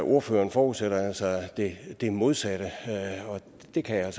ordføreren forudsætter altså det modsatte og det kan jeg